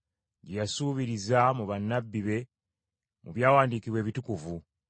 gye yasuubiriza mu bannabbi be mu byawandiikibwa ebitukuvu,